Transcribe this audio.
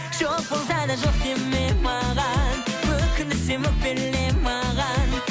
жоқ болса да жоқ деме маған өкіндірсем өкпеле маған